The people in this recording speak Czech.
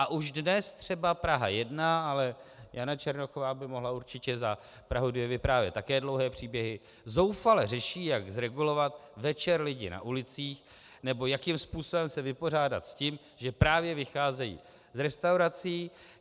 A už dnes třeba Praha 1, ale Jana Černochová by mohla určitě za Prahu 2 vyprávět také dlouhé příběhy, zoufale řeší, jak zregulovat večer lidi na ulicích nebo jakým způsobem se vypořádat s tím, že právě vycházejí z restaurací.